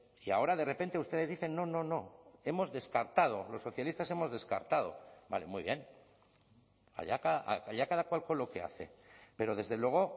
y ahora de repente ustedes dicen no no no hemos descartado los socialistas hemos descartado vale muy bien allá cada cual con lo que hace pero desde luego